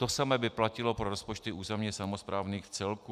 To samé by platilo pro rozpočty územně samosprávných celků.